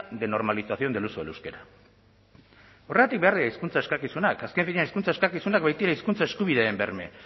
de normalización del uso del euskera horregatik behar dira hizkuntza eskakizunak azken finean hizkuntza eskakizunak baitira hizkuntza eskubideen berme